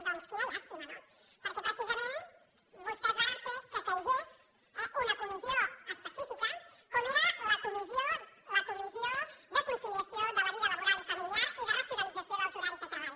doncs quina llàstima no perquè precisament vostès varen fer que caigués una comissió específica com era la comissió de conciliació de la vida laboral i familiar i de racionalització dels horaris de treball